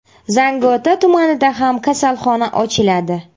Zangiota tumanida ham kasalxona ochiladi.